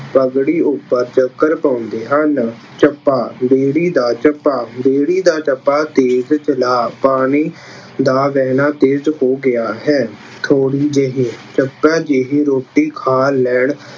ਪਗੜੀ ਉੱਪਰ ਚੱਕਰ ਪਾਉਂਦੇ ਹਨ। ਚੱਪਾ- ਬੇੜੀ ਦਾ ਚੱਪਾ- ਬੇੜੀ ਦਾ ਚੱਪਾ ਤੇਜ਼ ਚਲਾ, ਪਾਣੀ ਦਾ ਵਹਿਣਾ ਤੇਜ਼ ਹੋ ਗਿਆ ਹੈ। ਥੋੜ੍ਹੀ ਜਿਹੀ- ਚੱਪਾ ਜਿਹੀ ਰੋਟੀ ਖਾ ਲੈਣ